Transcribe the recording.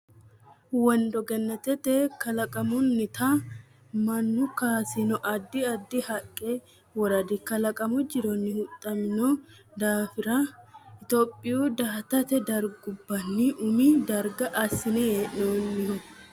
Wondo Gannatete kalaqamunnitanna mannu kaasino addi addi haqqe woradi kalaqamu jironni huxxamino daafira Itophiyu daaete dargubbanni umi darga assine hee noonniho.